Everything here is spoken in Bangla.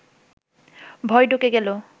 ভয় ঢুকে গেল